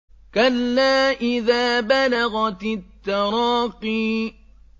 كَلَّا إِذَا بَلَغَتِ التَّرَاقِيَ